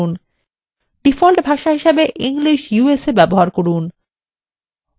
default ভাষা হিসাবে english usa ব্যবহার করুন